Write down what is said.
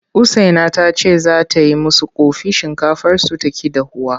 Usaina ta ce za ta yi musu ƙofi shinkafarsu ta ƙi dahuwa.